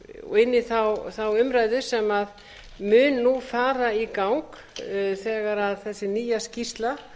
inn í þá umræðu sem mun nú fara í gang þegar þessi nýja skýrsla